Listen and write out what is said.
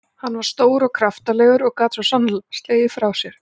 Hann var stór og kraftalegur og gat svo sannarlega slegið frá sér.